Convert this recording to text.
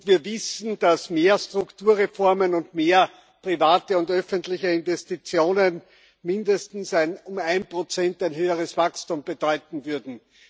Wir wissen, dass mehr Strukturreformen und mehr private und öffentliche Investitionen mindestens ein um 1 höheres Wachstum bedeuten würden.